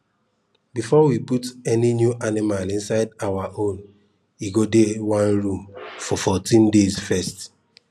before we put any new animal inside our own e go dey one room for 14 days first